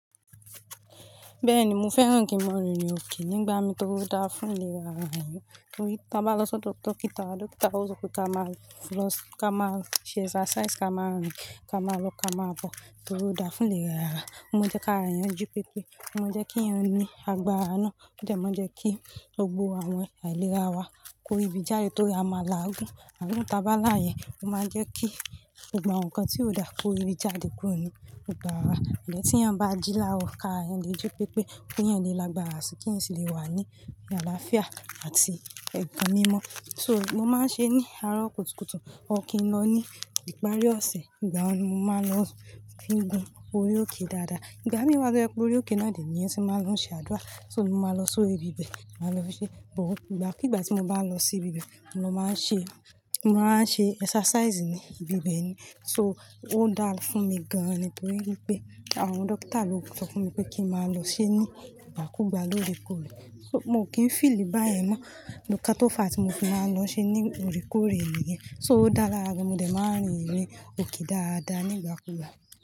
Bẹ́ẹ̀ni, mo fẹ́ràn kí mo rìn òkì nígbà mi tó dáa fún ìlera àwọn èèyàn. Nítorí tí a bá lọ sọ dókítà wa, dókítà wa ó sọ pé ká máa lọ, ká máa ṣe exercise, ká máa rìn, ká máa lọ, ká máa bọ̀, tori o dáa fún ìlera ara. Ó máa jẹ́ kára eyan jipẹ́pẹ́, ó máa jẹ́ kí eyan ní agbára náà, ó dẹ́ máa jẹ́ kí gbogbo àwọn àìlera wa kó ribi jáde torí a máa làágún. Àgún tí a bá là yẹn, ó máa jẹ́ kí gbogbo awọn nǹkan tí ó dà kó ribi jáde kúrò ní gbogbo ara wa. Ìyẹ́n tí èèyàn bá jí lárọ̀ kára èèyàn le jipẹ́pẹ́ ké èèyàn le lágbára sì kí èèyàn sì lè wà ní àlàáfíà àti ẹ̀gàn mímọ́. So mo máa ń ṣe ní àárọ̀ kùtùkùtù, ọ̀kín lọ ní ìparí ọ̀sẹ̀, ìgbà wọ́n ni mo máa ń lọ fín gún orí òkè dáadáa. Ìgbà mí wa jẹ́ pé orí òkè náà ni èèyàn tí máa ń lọ ṣe àdúrà, so mo máa lọ so ibi bẹ̀, màá lọ ṣe. But ìgbàkígbà tí mo bá lọ sí ibi bẹ̀, mo lọ máa ń ṣe, mo lọ máa ń ṣe exercise ní ibi bẹ̀ ni. So ó dára fún mi gan-an nítorí wípé àwọn dókítà ló sọ fún mi pé kí n máa lọ ṣe ní ìgbàkúùgbà lóre kore. So mo kì í feel báyẹn mọ́, lọ́kà tó fà á tí mo fi máa ń lọ ṣe ní ore kore niyẹn. So ó dá lara gan, mo dẹ̀ máa ń rìn irin òke dáadáa ní ìgbàkúùgbà.